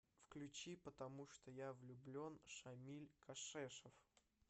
включи потому что я влюблен шамиль кашешов